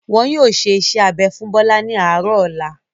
Wọn yóò ṣe iṣẹ́-abẹ fún Bọ́lá ní àárọ̀ ọ̀la.